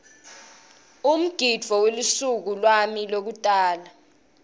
umgidvo welusuku lwami lwekutalwa